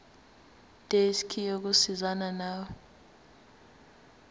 desk yokusizana nawe